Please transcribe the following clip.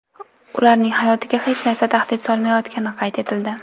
Ularning hayotiga hech narsa tahdid solmayotgani qayd etildi.